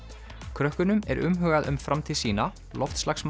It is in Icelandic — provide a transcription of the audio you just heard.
krökkunum er umhugað um framtíð sína loftslagsmál